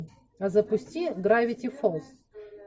запусти гравити фолз